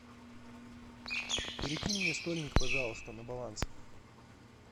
перекинь мне стольник пожалуйста на баланс